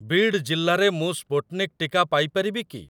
ବିଡ୍ ଜିଲ୍ଲାରେ ମୁଁ ସ୍ପୁଟ୍‌ନିକ୍ ଟିକା ପାଇ ପାରିବି କି?